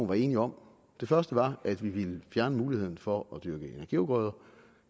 var enig om det første var at vi ville fjerne muligheden for at dyrke energiafgrøder og